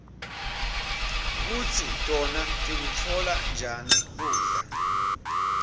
kutsi tona tikutfola njani kudla